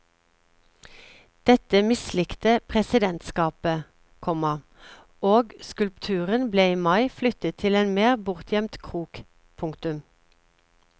Dette mislikte presidentskapet, komma og skulpturen ble i mai flyttet til en mer bortgjemt krok. punktum